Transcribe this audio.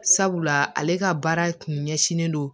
Sabula ale ka baara kun ɲɛsinnen don